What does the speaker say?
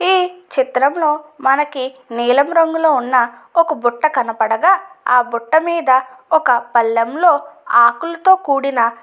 ఈ చిత్రంలో మనకి నీలం రంగులో ఉన్న ఒక బుట్ట కనపడగ ఆ బుట్ట మీద ఒక పళ్ళెంలో ఆకులతో కూడిన --